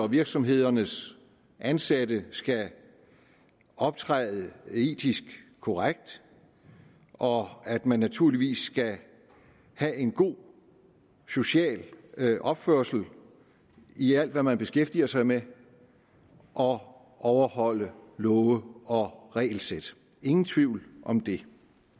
virksomhedernes ansatte skal optræde etisk korrekt og at man naturligvis skal have en god social opførsel i alt hvad man beskæftiger sig med og overholde love og regelsæt ingen tvivl om det